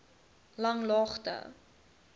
langlaagte